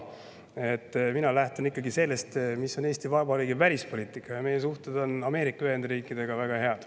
Mina lähtun ikkagi sellest, mis on Eesti Vabariigi välispoliitika, ja meie suhted Ameerika Ühendriikidega on väga head.